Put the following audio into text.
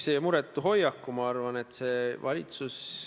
Aga noh, see on Riigikogu korraldada, kus need lipud on.